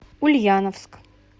ульяновск